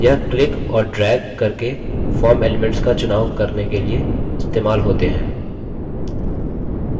यह क्लिक और ड्रैग करके form elements का चुनाव करने के लिए इस्तेमाल होते हैं